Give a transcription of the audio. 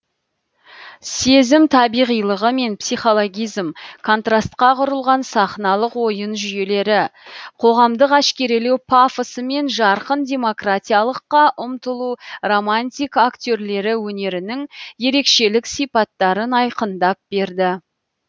сезім табиғилығы мен психологизм контрастқа құрылған сахналық ойын жүйелері қоғамдық әшкерелеу пафосы мен жарқын демократиялыққа ұмтылу романтик актерлері өнерінің ерекшелік сипаттарын айқындап берді